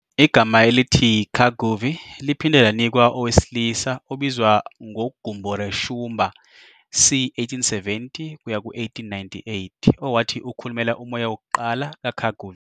Igama elithi "Kaguvi" liphinde lanikwa owesilisa obizwa ngoGumboreshumba, c1870-1898, owathi ukhulumela umoya wokuqala kaKaguvi.